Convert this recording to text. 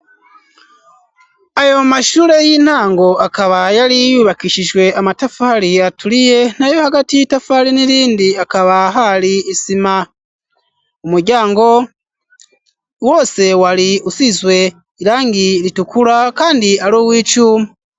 Ayo mashure y'intango akaba yari yubakishijwe amatafari aturiye, nayo hagati y'itafari n'irindi hakaba hari isima. Umuryango wose wari usizwe irangi ritukura kandi ari uw'icuma.